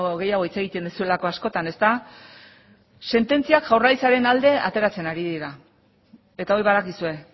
gehiago hitz egiten duzuelako askotan sententziak jaurlaritzaren alde ateratzen ari dira eta hori badakizue